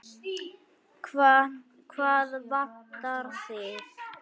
Hvað vantar þig?